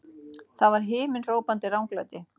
Það var himinhrópandi ranglæti!